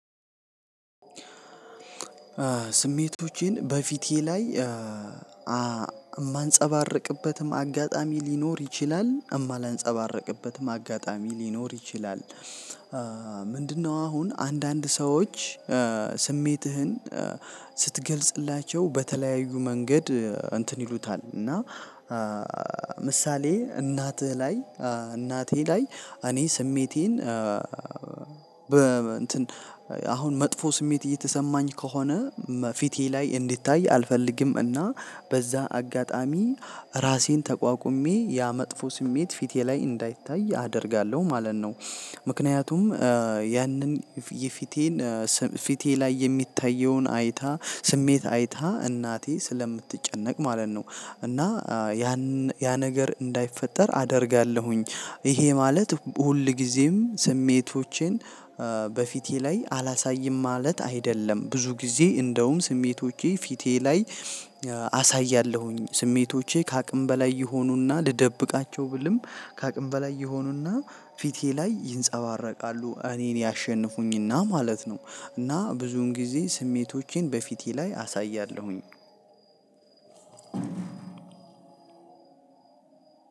ስሜቶቼን በፊቴ ላይ ማንፀባርቅበትም አጋጣሚ ሊኖር ይችላል እማላንፀባርቅበትም አጋጣሚ ሊኖር ይችላል። ምንድነው? አሁን አንድ አንድ ሰዎች ስሜትህን ስትገልጽላቸው በተለያዩ መንገድ እንትን ይሉታል። እና ምሳሌ እናትህ ላይ እናቴ ላይ እኔ ስሜቴን በ እንትን አሁን መጥፎ ስሜት እየተሰማኝ ከሆነ ፊቴ ላይ እንዲታይ አልፈልግም። እና በዛ አጋጣሚ ራሴን ተቋቁሜ ያ መጥፎ ስሜት ፊቴ ላይ እንዳይታይ አደርጋለሁ ማለት ነው። ምክንያቱም ያንን የፊቴን ፊቴ ላይ የሚታየውን አይታ ስሜት አይታ እናቴ ስለምትጨነቅ ማለት ነው። እና ያን ያ ነገር እንዳይፈጠር አደርጋለሁኝ። ይሄ ማለት ሁልጊዜም ስሜቶቼን በፊቴ ላይ አላሳይም ማለት አይደለም። ብዙ ጊዜ እንደውም ስሜቶቼ ፊቴ ላይ አሳያለሁኝ ስሜቶቼ ከአቅም በላይ ይሆኑና ልደብቃቸው ብልም ከአቅም በላይ ይሆኑና ፊቴ ላይ ይንጸባረቃሉ እኔን ያሸንፉኝና ማለት ነው። እና ብዙም ጊዜ ስሜቶቼን በፊቴ ላይ አሳያለሁኝ።